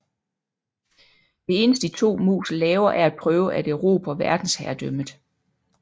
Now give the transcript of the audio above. Det eneste de to mus laver er at prøve at erobre verdensherredømmet